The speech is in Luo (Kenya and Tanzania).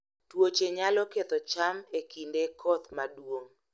Tuoche nyalo ketho cham e kinde koth maduong'